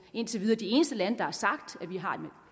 indtil videre de eneste lande der har sagt at vi har